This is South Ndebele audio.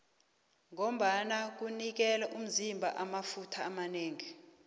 ngombana kunikela umzima amafutha amanengi